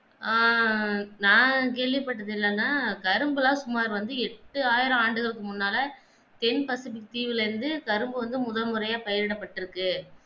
ஆஹ் நான் கேள்விப்பட்டது இல்ல தான் கரும்புகள் சுமார் வந்து எட்டாயிரம் ஆண்டுகல் முன்னால தென் பசுபிக் தீவுல இருந்து கரும்பு வந்து முதல் முறையாக பயிரிடப்பட்டிருக்கு